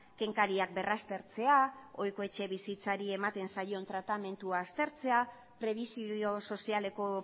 kenkariak berraztertzea ohiko etxe bizitzari ematen zaion tratamendu aztertzea prebisio sozialeko